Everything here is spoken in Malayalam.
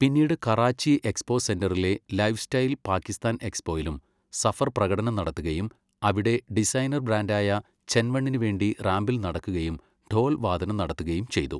പിന്നീട് കറാച്ചി എക്സ്പോ സെന്ററിലെ ലൈഫ്സ്റ്റൈൽ പാകിസ്ഥാൻ എക്സ്പോയിലും സഫർ പ്രകടനം നടത്തുകയും അവിടെ ഡിസൈനർ ബ്രാൻഡായ ചെൻ വണ്ണിനു വേണ്ടി റാംപിൽ നടക്കുകയും ഢോൽ വാദനം നടത്തുകയും ചെയ്തു.